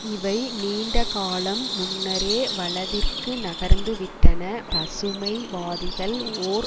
இவை நீண்டகாலம் முன்னரே வலதிற்கு நகர்ந்து விட்டன பசுமை வாதிகள் ஓர்